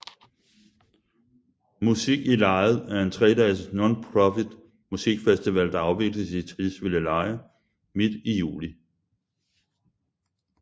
Musik i Lejet er en tredages nonprofit musikfestival der afvikles i Tisvildeleje midt i juli